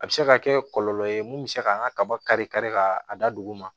A bɛ se ka kɛ kɔlɔlɔ ye mun bɛ se k'an ka kaba kari kari ka a da dugu ma